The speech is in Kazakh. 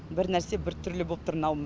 бір нәрсе біртүрлі боп тұр мынауым